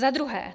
Za druhé.